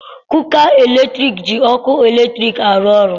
Kuka latriki ji ọkụ latriki arụ ọrụ.